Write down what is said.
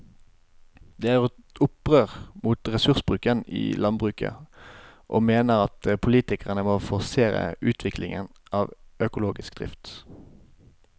De har gjort opprør mot ressursbruken i landbruket og mener at politikerne må forsere utviklingen av økologisk drift.